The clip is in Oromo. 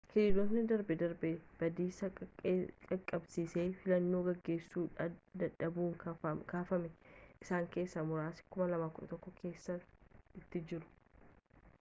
hiriirotni darbe darbee badiisa qaqqabsiisan filannoo geggeessuu dadhabuun kaafaman isaan keessaa muraasni 2011 kaasanii itti jiru